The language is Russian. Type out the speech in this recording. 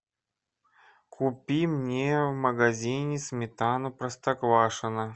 купи мне в магазине сметану простоквашино